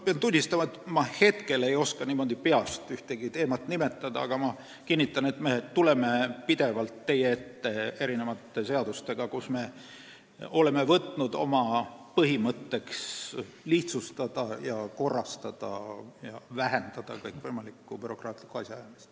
Pean tunnistama, et hetkel ma ei oska peast ühtegi teemat nimetada, aga kinnitan, et me tuleme pidevalt teie ette seadustega, milles me oleme võtnud oma põhimõtteks lihtsustada, korrastada ja vähendada kõikvõimalikku bürokraatlikku asjaajamist.